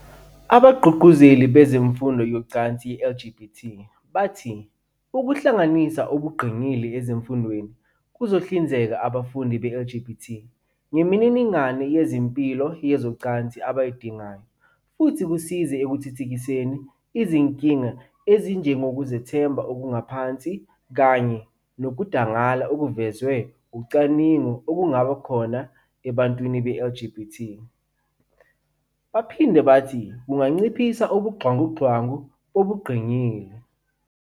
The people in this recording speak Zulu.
Abagqugquzeli bemfundo yezocansi ye-LGBT bathi ukuhlanganisa ubungqingili ezifundweni kuzohlinzeka abafundi be-LGBT ngemininingwane yezempilo yezocansi abayidingayo, futhi kusize ekuthuthukiseni izinkinga ezinjengokuzethemba okuphansi kanye nokudangala okuvezwe ucwaningo kungaba khona kubantu be-LGBT. Baphinde bathi kunganciphisa ubuxhwanguxhwangu bobungqingili.